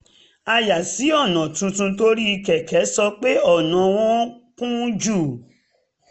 a yà sí ọ̀nà tuntun torí kẹ̀kẹ́ sọ pé ọ̀nà wọ̀n-ún kún jù